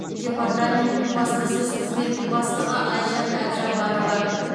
департаментінің баспасөз қызметінің бастығы айжан әбжапарова